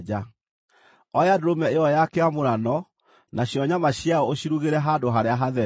“Oya ndũrũme ĩyo ya kĩamũrano nacio nyama ciayo ũcirugĩre handũ harĩa hatheru.